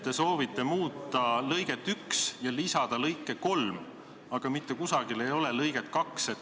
Te soovite muuta lõiget 1 ja lisada lõike 3, aga mitte kusagil ei ole lõiget 2.